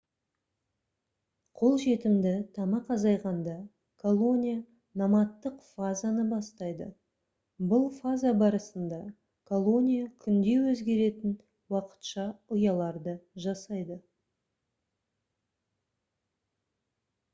қолжетімді тамақ азайғанда колония номадтық фазаны бастайды бұл фаза барысында колония күнде өзгеретін уақытша ұяларды жасайды